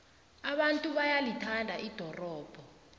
abantu bayalithanda ldorobho